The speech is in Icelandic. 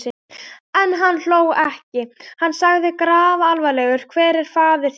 En hann hló ekki: Hann sagði grafalvarlegur: Hver er faðir þinn?